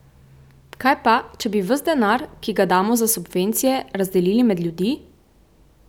Kaj pa, če bi ves denar, ki ga damo za subvencije, razdelili med ljudi?